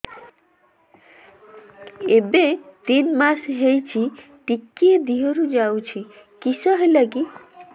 ଏବେ ତିନ୍ ମାସ ହେଇଛି ଟିକିଏ ଦିହରୁ ଯାଉଛି କିଶ ହେଲାକି